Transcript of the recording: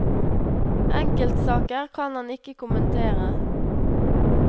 Enkeltsaker kan han ikke kommentere.